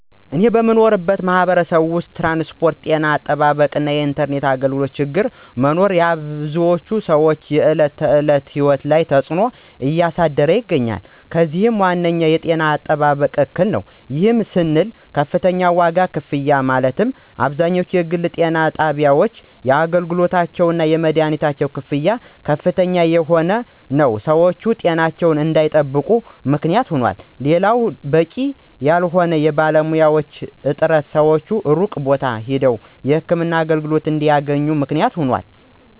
እኔ በምኖርበት ማህበረሰብ ውስጥ ትራንስፖርት፣ ጤና አጠባበቅ እና የኢንተርኔት አገልግሎቶ ችግር መኖር የብዙ ሰወች የዕለት ተዕለት ህይወት ላይ ተፅዕኖ እያሳደረ ይገኛል። ከዚህም ዋነኛው የጤና አጠባበቅ እክል ነው። ይህም ስንል ከፍተኛ ዋጋ ክፍያ ማለትም አብዛኛው የግል ጤና ጣቢያወች ለአገልግሎታቸው እና ለመደሀኒት ክፍያ ከፍተኛ የሆነ ንረት ሰወች ጤናቸውን እንዳይጠብቁ ምክንያት ይሆናል። ሌላው በቂ ያልሆነ የባለሙያዎች እጥረት ሰወች ሩቅ ቦታ ሄደው የህክምና አገልግሎት እንዲያገኙ ምክንያት ሆኗል።